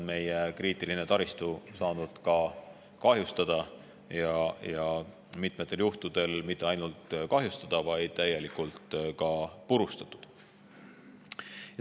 Meie kriitiline taristu on saanud kahjustada ja mitmetel juhtudel mitte ainult kahjustada, vaid täielikult purustatud.